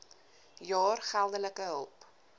jaar geldelike hulp